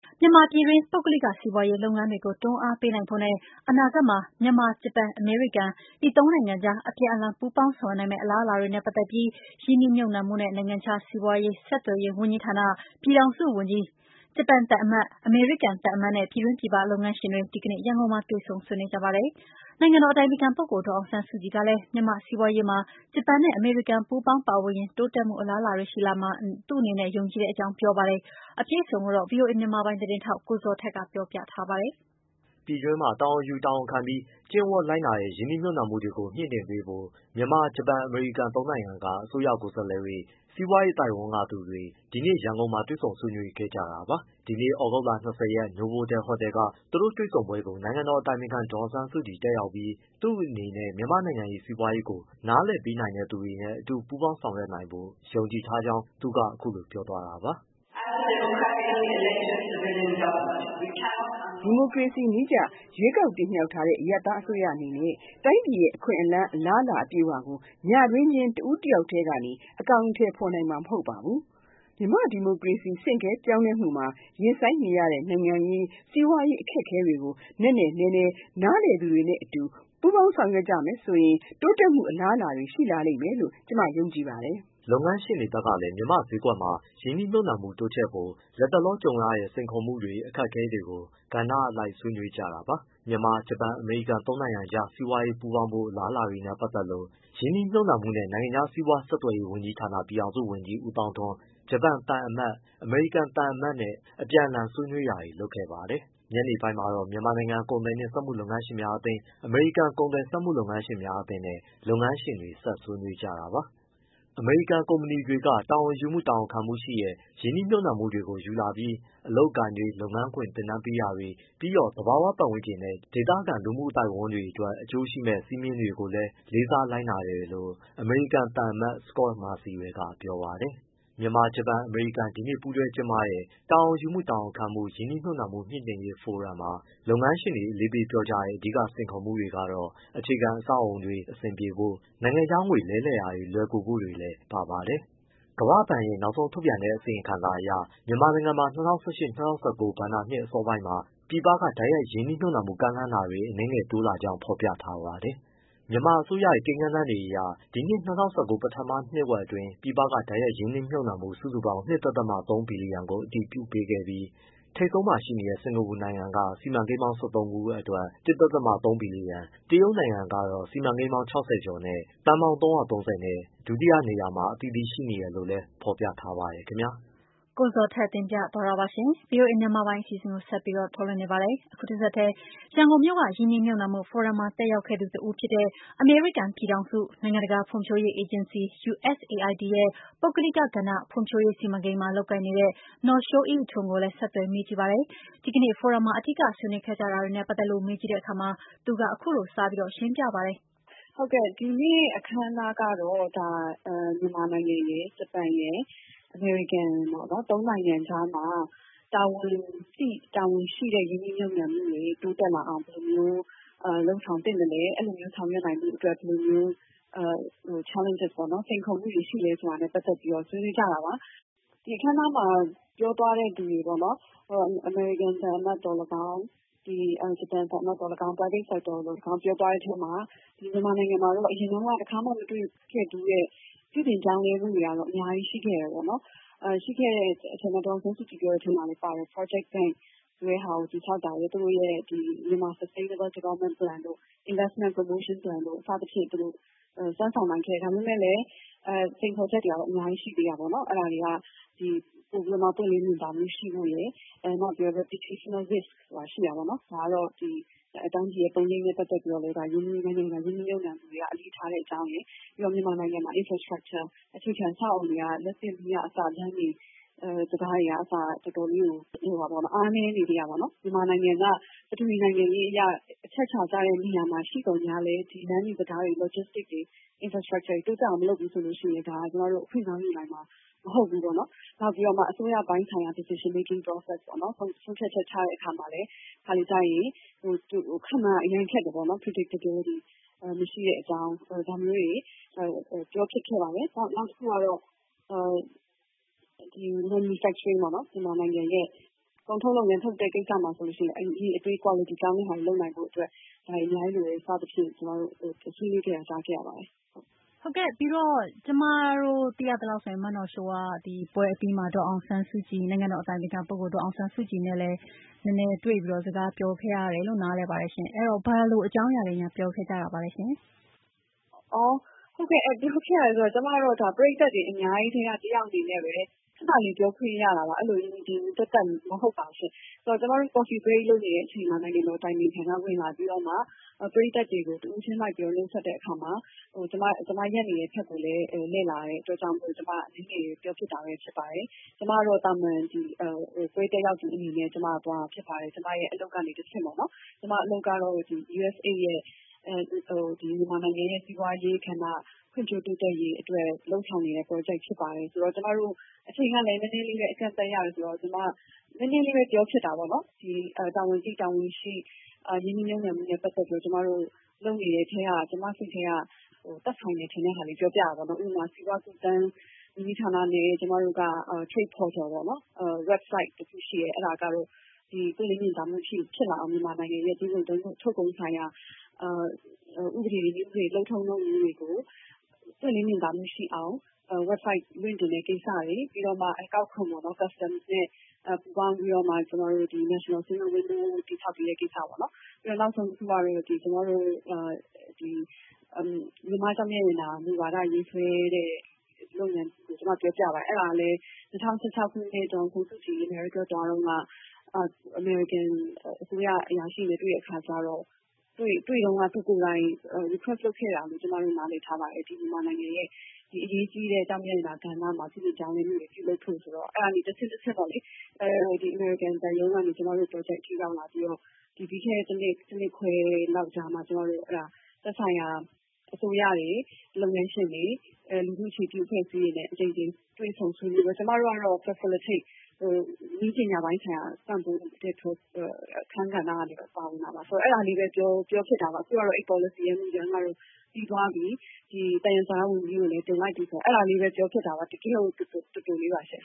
မြန်မာပြည်တွင်း ပုဂ္ဂလိကစီးပွားရေးလုပ်ငန်းတွေကို တွန်းအားပေးနိုင်ဖို့နဲ့ အနာဂတ်မှာ မြန်မာ၊ ဂျပန်၊ အမေရိကန် ဒီသုံးနိုင်ငံကြား အပြန်အလှန် ပူးပေါင်းဆောင်ရွက်နိုင်မယ့် အလာအလာတွေနဲ့ပတ်သက်ပြီး ရင်းနှီးမြှုပ်နှံမှုနှင့် နိုင်ငံခြားစီးပွား ဆက်သွယ်ရေးဝန်ကြီးဌာန ပြည်ထောင်စုဝန်ကြီး၊ ဂျပန်သံအမတ်၊ အမေရိကန် သံအမတ်နဲ့ ပြည်တွင်း၊ ပြည်ပ လုပ်ငန်းရှင်တွေ ဒီနေ့ရန်ကုန်မှာတွေ့ဆုံ ဆွေးနွေးကြပါတယ်။ နိုင်ငံတော်အတိုင်ပင်ခံ ဒေါ်အောင်ဆန်းစုကြည်ကလည်း မြန်မာ့စီးပွားရေးမှာ ဂျပန်နဲ့ အမေရိကန် ပူးပေါင်းပါဝင်ရင် တိုးတက်မှုအလားအလာတွေရှိလာမှာ သူ့အနေနဲ့ ယုံကြည်ကြောင်း ပြောပါတယ်။ အပြည့်အစုံကို ဗွီအိုအေ မြန်မာပိုင်းသတင်းထောက် ကိုဇော်ထက်က ပြောပြပေးမှာပါ။ ပြည်တွင်းမှာ တာဝန်ယူ၊ တာဝန်ခံပြီး ကျင့်ဝတ်လိုက်နာတဲ့ ရင်းနှီးမြှုပ်နှံမှုတွေကို မြှင့်တင်ပေးဖို့ မြန်မာ၊ ဂျပန်၊ အမေရိကန် သုံးနိုင်ငံက အစိုးရ ကိုယ်စားလှယ်တွေ၊ စီးပွားရေးအသိုက်အဝန်းကသူတွေ ဒီနေ့ ရန်ကုန်မှာ တွေ့ဆုံဆွေးနွေးခဲ့ကြတာပါ။ ဒီနေ့ သြဂုတ်လ ၂၀ရက် နိုဗိုတယ် ဟိုတယ်က သူတို့တွေ့ဆုံပွဲကို နိုင်ငံတော်အတိုင်ပင်ခံ ဒေါ်အောင်ဆန်းစုကြည်တက်ရောက်ပြီး သူ့အနေနဲ့ မြန်မာ့ နိုင်ငံရေး စီးပွားရေးကို နားလည်ပေးနိုင်သူတွေနဲ့ အတူပူးပေါင်းဆောင်ရွက်နိုင်ဖို့ ယုံကြည်ကြောင်းသူကအခုလိုပြောသွားတာပါ။ “ ဒီမိုကရေစီနည်းအရ ရွေးကောက်ခံထားရတဲ့ အရပ်သားအစိုးရအနေနဲ့ တိုင်းပြည်ရဲ့ အခွင့်အလမ်း၊ အလားအလာအပြည့်အဝကို ညတွင်းချင်း တဦးတယောက်တည်း အကောင်အထည်ဖော်နိုင်မှာမဟုတ်ပါဘူး။ မြန်မာ့ဒီမိုကရေစီ ဆင့်ကဲပြောင်းလဲမှုမှာရင်ဆိုင်ရတဲ့ နိုင်ငံရေး၊ စီးပွားရေး အခက်အခဲတွေကို နက်နက်နဲနဲနားလည်သူတွေနဲ့ အတူပူးပေါင်းဆောင်ရွက်ရရင်တိုးတက်မှုအလားအလာတွေရှိလာမှာ ကျမယုံကြည်ပါတယ်။” လုပ်ငန်းရှင်တွေဘက်ကလည်း မြန်မာ့ဈေးကွက်မှာ ရင်းနှီးမြှုပ်နှံမှုတိုးချဲ့ဖို့ လက်တလောကြုံရတဲ့ စိန်ခေါ်မှုတွေ၊ အခက်အခဲတွေကို ကဏ္ဍအလိုက် ဆွေးနွေးကြတာပါ။ မြန်မာ၊ ဂျပန်၊ အမေရိကန်သုံးနိုင်ငံကြား စီးပွားရေးပူးပေါင်းဖို့ အလားအလာတွေနဲ့ပတ်သက်လို့ ရင်းနှီးမြှုပ်နှံမှုနဲ့ နိုင်ငံခြားစီးပွား ဆက်သွယ်ရေးဝန်ကြီးဌာန ပြည်ထောင်စုဝန်ကြီး ဦးသောင်းထွန်း၊ ဂျပန်သံအမတ် Ichiro Maruyama ၊ အမေရိကန်သံအမတ် Scot Marciel အပြန်အလှန်ဆွေးနွေးတာတွေလုပ်ခဲ့ပါတယ်။ ညနေပိုင်းမှာတော့ မြန်မာနိုင်ငံကုန်သည်နှင့်စက်မှုလက်မှုလုပ်ငန်းရှင်များအသင်း၊ အမေရိကန် ကုန်သည်စက်မှု လုပ်ငန်းရှင်များအသင်းနဲ့ လုပ်ငန်းရှင်တွေဆက်ဆွေးနွေးကြတာပါ။ အမေရိကုန်ကုမ္ပဏီတွေက တာဝန်ယူမှု၊ တာဝန်ခံမှုရှိတဲ့ ရင်းနှီးမြှုပ်နှံမှုတွေကိုယူလာပြီး အလုပ်အကိုင်တွေ၊ လုပ်ငန်းခွင်သင်တန်းတွေပေးတာ ပြီးတော့ သဘာဝပတ်ဝန်းကျင်နဲ့ ဒေသခံလူမှုအသိုက်အဝန်းအတွက် အကျိုးရှိမယ့် စည်းမျဉ်းတွေကိုလည်းလေးစားလိုက်နာတယ်လို့ အမေရိကန်သံအမတ် စကော့မာစီရယ်က ပြောပါတယ်။ မြန်မာ- ဂျပန်- အမေရိကန် ဒီနေ့ပူးတွဲကျင်းပတဲ့ တာဝန်ယူမှု တာဝန်ခံမှု ရင်နှီးမြှုပ်နှံမှုမြှင့်တင်ရေးဖိုရမ်မှာ လုပ်ငန်းရှင်တွေ အလေးပေးပြောကြတဲ့ အဓိကစိန်ခေါ်ချက်ကတော့ အခြေခံအဆောက်အုံတွေ အဆင်ပြေဖို့၊ နိုင်ငံခြားငွေလဲ အလွယ်တကူလဲနိုင်ဖို့ ဒါတွေလည်းပါ ပါတယ်။ ကမ္ဘာ့ဘဏ်ရဲ့ နောက်ဆုံးထုတ်ပြန်တဲ့ အစီရင်ခံစာအရ မြန်မာနိုင်ငံမှာ ၂၀၁၈-၂၀၁၉ ဘဏ္ဍာနှစ်အစောပိုင်းမှာ ပြည်ပက တိုက်ရိုက်ရင်းနှီးမြှုပ်နှံဖို့ ကမ်းလှမ်းမှုတွေ အနည်းငယ်တိုးလာကြောင်း ဖော်ပြထားပါတယ်။ မြန်မာအစိုးရရဲ့ ကိန်းဏန်းတွေအရ ဒီနှစ် ၂၀၁၉ ပထမနှစ်ဝက်အတွင်း ပြည်ပက တိုက်ရိုက်ရင်းနှီးမြှုပ်နှံမှု စုစုပေါင်း ၂.၃ ဘီလီယံကို အတည်ပြုပေးခဲ့ပြီး၊ ထိပ်ဆုံးမှာ ရှိနေတဲ့ စင်္ကာပူနိုင်ငံက စီမံကိန်းပေါင်း ၁၃ ခုအတွက် ၁.၃ ဘီလီယံ၊ တရုတ်နိုင်ငံကတော့ စီမံကိန်းပေါင်း ၆၀ ကျော်နဲ့ သန်းပေါင်း ၃၃၀ နဲ့ ဒုတိယနေရာတွေမှာ အသီးသီးရှိနေတယ်လို့လည်း ဖော်ပြထားပါတယ်။ ရန်ကုန်မြို့က ရင်းနှီးမြှုပ်နှံမှုဖိုရမ်မှာ တက်ရောက်ခဲ့သူ တဦးဖြစ်တဲ့ အမေရိကန် ပြည်ထောင်စု နိုင်ငံတကာ ဖွံ့ဖြိုးရေးအေဂျင်စီ ရဲ့ ပုဂ္ဂလိကကဏ္ဍ ဖွံ့ဖြိုးရေးစီမံကိန်းမှာ လုပ်ကိုင်နေတဲ့ နော်ရှိုးအိအိထွန်းကိုလည်း ဆက်သွယ်မေးကြည့်ပါတယ်။ ဒီနေ့ဖိုရမ်မှာ အဓိက ဆွေးနွေးခဲ့ကြတာတွေနဲ့ ပတ်သက်လို့ နန်းလောင်ဝ် မေးကြည့်တဲ့ အခါမှာတော့ သူက အခုလို စရှင်းပြပါတယ်။ ဒီနေ့အခမ်းအနားကတော့ မြန်မာ၊ ဂျပန်၊ အမေရိကန်ရယ် ၃ နိုင်ငံကြားမှာ တာဝန်သိတဲ့ ၊ တာဝန်ရှိတဲ့ ရင်းနှီးမြှုပ်နှံမှုမျိုးတွေ တိုးတက်လာအောင် ဘယ်လို လုပ်ဆောင်သင့်သလဲ အဲဒီလိုဆောင်ရွက်နိုင်ဖို့က ဘယ်လိုစိန်ခေါ်မှုတွေရှိသလဲဆိုတာနဲ့ ပတ်သက်ပြီး ဆွေးနွေးကြတာပါ။ ဒီအခမ်းအနားမှာ ပြောသွားတဲ့ သူတွေပေါ့နော် အမေရိကန် သံအမတ်သော်လည်းကောင်း၊ ဂျပန် သံအမတ်သော်လည်းကောင်း Private sector သော်လည်းကောင်း ပြောသွားတဲ့အထဲမှာ ဒီမြန်မာနိုင်ငံမှာတော့ အရင်တုန်းက တခါမှ မတွေ့ခဲ့ဖူးတဲ့ ပြုပြင်ပြောင်းလဲမှုတွေကတော့ အများကြီးရှိခဲ့တယ် အဲဒီအထဲမှာ ဒေါ်အောင်ဆန်းစုကြည် ပြောတဲ့အထဲမှာလည်း ပါတယ်။ Project bank က သူတို့ရဲ့ Myanmar Sustainable Development Plan တို့ Investment Promotion Plan တို့ စသဖြင့် စွမ်းဆောင်နိုင်ခဲ့တယ်။ ဒါပေမယ့်လည်း စိန်ခေါ်ချက်တွေက အများကြီးရှိသေးတာပေါ့နော် အဲဒါတွေက ပိုပြီးတော့ ပွင့်လင်းမြင်သာမှုရှိဖို့ရယ် ၊ reputational risk ဆိုတာရှိတယ်ပေါ့နော် ဒါက တိုင်းပြည်ပုံရိပ်နဲ့ ပတ်သက်ပြီးတော့ ရင်းနှီးမြှုပ်နှံသူတွေက အလေးထားတဲ့အကြောင်း ပြီးတော့ မြန်မာနိုင်ငံမှာ infrastructure အခြေခံအဆောက်အအုံတွေက လမ်းတွေ၊ တံတားတွေကအစ တော်တော်လေးကို အားနည်းနေသေးတာပေါ့နော်။ မြန်မာနိုင်ငံက ပထဝီအနေအထား အရ အချက်အခြာကျတဲ့ နေရာမှာ ရှိသော်လည်း လမ်းတံတား၊ အဆောက်အအုံ Logistic တွေ တိုးတက်အောင်မလုပ်ဘူးဆိုရင် အခွင့်ကောင်းယူနိုင်မှာ မဟုတ်ဘူးပေါ့နော်။ နောက်ပြီးတော့ အစိုးရပိုင်းဆိုင်ရာ Decision making process အပိုင်းမှာလည်း တခါတလေ ခန့်မှန်းရ အရမ်းခက်တယ်ပေါ့နော်။ predictability မရှိတဲ့အကြောင်း ဒါမျိုးတွေ ပြောဖြစ်ခဲ့တယ်။ နောက်တခုကတော့ manufacturing ပေါ့နော် ကုန်ထုတ်လုပ်တဲ့ကိစ္စမှာလည်း အရေအသေး ကွာလတီ ကောင်းအောင် လုပ်နိုင်ဖို့ ဒါတွေအများကြီးလိုတယ် စသဖြင့် ဆွေးနွေးခဲ့တာ ကြားခဲ့ရပါတယ်။ ဟုတ်ကဲ့ ။ ဒီပွဲအပြီးမှာ မနော်ရှိုးက နိုင်ငံတော်အတိုင်ပင်ခံ ဒေါ်အောင်ဆန်းစုကြည် နဲ့လည်း တွေ့ပြီး စကားပြောခဲ့ရတယ်လို့ ကြားပါတယ်။ အဲဒီတော့ ဘယ်လိုအကြောင်းအရာတွေ ပြောခဲ့ပါသလဲရှင့်။ ပြောခဲ့တယ်ဆိုတာ ကျမကတော့ ပရိတ်သတ်တွေအများကြီးထဲက တယောက်အနေနဲ့ပဲ ခဏလေးပြောခွင့်ရတာပါ ။ သပ်သပ်ရယ်လို့တော့ မဟုတ်ပါဘူး။ ကျမတို့ coffee break လုပ်နေတဲ့ အချိန်မှာ နိုင်ငံတော်အတိုင်ပင်ခံက ဝင်လာပြီးတော့မှ ပရိတ်သတ်တွေကို တဦးချင်းလိုက်ပြီးတော့ နှုတ်ဆက်တဲ့အခါမှာ ကျမ ရပ်နေတဲ့ဘက်ကိုလည်း လှည့်လာတာမို့ ကျမ အနည်းငယ်ပြောဖြစ်တာပါ။ ကျမကတော့ သာမန်ပွဲတက်ရောက်သူအနေနဲ့ပဲ သွားတာဖြစ်ပါတယ်။ ကျမအလုပ်ကတဆင့်ပေါ့နော် အလုပ်ကတော့ USAID ရဲ့ မြန်မာနိုင်ငံက စီးပွားရေး ကဏ္ဍ ဖွံ့ဖြိုးတိုးတက်ရေးအတွက် လုပ်ဆောင်နေတဲ့ Project ဖြစ်ပါတယ်။ အချိန်ကလည်း နည်းနည်းလေးနဲ့ အကန့်အသတ်နဲ့ဆိုတော့ ကျမ နည်းနည်းလေးပဲ ပြောဖြစ်တာပေါ့နော်။ တာဝန်သိ တာဝန်ရှိ ရင်းနှီးမြှုပ်နှံမှုနဲ့ ပတ်သက်ပြီးတော့ ကျမတို့ လုပ်နေတဲ့အထဲက သက်ဆိုင်တာလေး ပြောပြတာပေါ့နော်။ ဥပမာ စီးပွားကူးသန်း ဝန်ကြီးဌာနနဲ့ ကျမတို့က Trade Portal website တခုရှိတယ်။ အဲဒါကတော့ ပွင့်လင်းမြင်သာမှုဖြစ်လာအောင် မြန်မာနိုင်ငံ သွင်းကုန် ၊ ထုတ်ကုန်ဆိုင်ရာ ၊ နည်းဥပဒေတွေ လုပ်ထုံးလုပ်နည်းတွေကို ပွင့်လင်းမြင်သာမှုဖြစ်လာအောင် website လွှင့်တင်တဲ့ ကိစ္စတွေ ၊ ပြီးတော့ အကောက်ခွန်နဲ့ ပူးပေါင်းပြီးတော့ ကျမတို့ တည်ဆောက်ပေးတဲ့ ကိစ္စပေါ့နော်၊ နောက်ဆုံးတခုက မြန်မာ့ကျောက်မျက်ရတနာ မူဝါဒရေးဆွဲတဲ့ လုပ်ငန်းကို ပြောပြပါတယ်။ အဲဒါကလည်း ၂၀၁၆ ခုနှစ် ဒေါ်အောင်ဆန်းစုကြည် အမေရိကန်သွားတုန်းက အမေရိကန် အစိုးရ အရာရှိတွေနဲ့ တွေ့တဲ့အခါကျတော့ တွေ့တုန်းက သူ request လုပ်ခဲ့တာလို့ ကျမတို့ နားလည်ထားပါတယ် ။ မြန်မာနိုင်ငံရဲ့ အရေးကြီးတဲ့ ကျောက်မြတ်ရတနာ ကဏ္ဍမှာ ပြုပြင်ပြောင်းလဲမှုတွေ ပြုလုပ်ဖို့ဆိုတော့ အဲဒါတွေတဆင့်ချင်းပေါ့လေ အမေရိကန် သံရုံးကနေ ကျမတို့ အထိ ရောက်လာပြီးတော့ ပြီးခဲ့တဲ့ ၁ နှစ်ခွဲလောက်မှာ ကျမတို့ သက်ဆိုင်ရာအစိုးရတွေ ၊ လုပ်ငန်းရှင်တွေ၊ လူထုအခြေပြုအဖွဲ့အစည်းတွေနဲ့ အကြိမ်ကြိမ်တွေ့ဆုံဆွေးနွေးပြီးတော့ ကျမတို့ကတော့ နည်းပညာပိုင်းဆိုင်ရာ ပံ့ပိုးတဲ့ အခန်းကဏ္ဍကနေပြီးတော့ ပါဝင်တာပါ အဲဒါလေးပဲ ပြောဖြစ်တာပါ။ နောက်တခုကတော့ အဲဒီ Policy မူကြမ်းကတော့ ပြီးသွားပြီ သယံဇာတ ဝန်ကြီးကိုလည်းတင်လိုက်ပြီ အဲဒါလေးပဲ ပြောဖြစ်တာပါ။ တကယ့်ကို တိုတိုလေးပါရှင့်